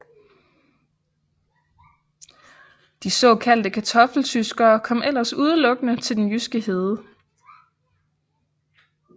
De såkaldte Kartoffeltyskere kom ellers udelukkende til den jyske hede